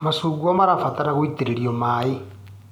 Macungwa marabatara gũitĩrĩrio maĩ.